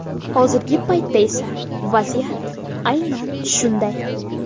Hozirgi paytda esa vaziyat aynan shunday.